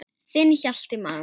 Þinn Hjalti Már.